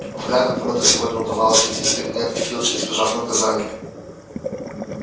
вряд ли кому до сего дня удавалось выйти из кабинета филча избежав наказания